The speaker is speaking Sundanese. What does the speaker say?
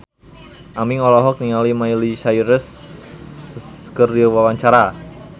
Aming olohok ningali Miley Cyrus keur diwawancara